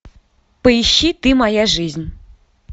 поищи ты моя жизнь